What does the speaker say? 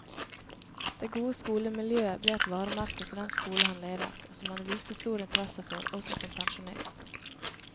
Det gode skolemiljøet ble et varemerke for den skole han ledet, og som han viste stor interesse for også som pensjonist.